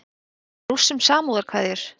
Sendi Rússum samúðarkveðjur